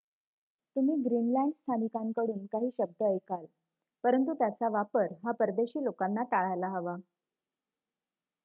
तुम्ही ग्रीनलंड स्थानिकांकडून काही शब्द ऐकल परंतु त्याचा वापर हा परदेशी लोकांना टाळायला हवा